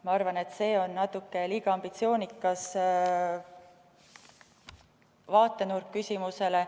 Ma arvan, et see on natuke liiga ambitsioonikas vaatenurk küsimusele.